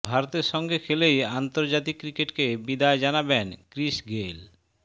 ভারতের সঙ্গে খেলেই আন্তর্জাতিক ক্রিকেটকে বিদায় জানাবেন ক্রিস গেইল